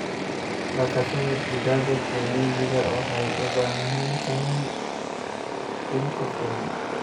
Dhaqashada digaaga kienyejida waxay u baahan tahay dhul ku filan.